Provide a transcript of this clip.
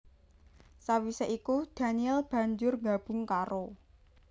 Sawisé iku daniel banjur nggabung karo